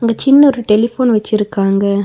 அங்க சின்ன ஒரு டெலிஃபோன் வச்சிருக்காங்க.